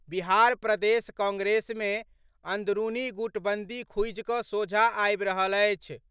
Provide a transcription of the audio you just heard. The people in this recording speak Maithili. बिहार प्रदेश कांग्रेस मे अंदरूनी गुटबंदी खुजि कऽ सोझा आबि रहल अछि।